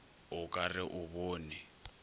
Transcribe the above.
o ka re o bone